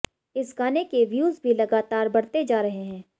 इस गाने के व्यूज भी लगातार बढ़ते जा रहे हैं